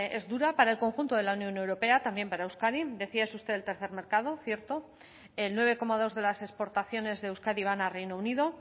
es dura para el conjunto de la unión europea también para euskadi decía usted es el tercer mercado cierto el nueve coma dos de las exportaciones de euskadi van a reino unido